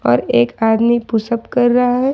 और एक आदमी पुशअप कर रहा है।